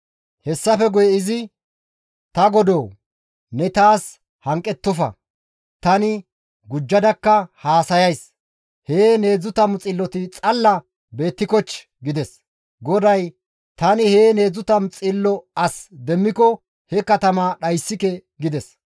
Hessafe guye izi, «Ta Godoo! Ne ta bolla hanqettofa; tani gujjadakka oychchays; heen 30 xilloti xalla beettikochchii?» gides. GODAY, «Tani heen 30 xillo as demmiko he katamaa dhayssike» gides.